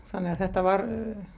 þannig að þetta var